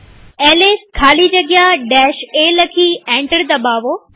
LS ખાલી જગ્યા a લખી એન્ટર દબાવો